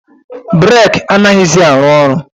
Breeki a naghizi arụ ọrụ